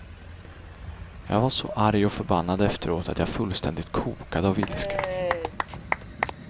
Jag var så arg och förbannad efteråt att jag fullständigt kokade av ilska.